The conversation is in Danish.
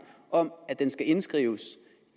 om at den skal indskrives